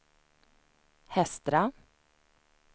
Hestra